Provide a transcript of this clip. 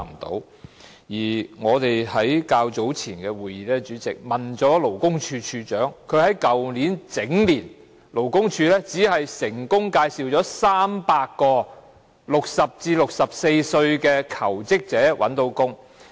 主席，我們在較早前的委員會會議中詢問了勞工處處長，勞工處去年整年僅成功介紹了300名60歲至64歲的求職者覓得工作。